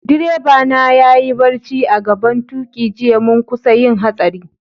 Direba na ya yi barci a'gaban tuki jiya, mun kusa yin hatsari.